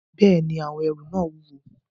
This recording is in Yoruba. Bẹ́ẹ̀ni, àwọn ẹrù náà wúwo